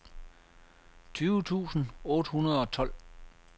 tyve tusind otte hundrede og tolv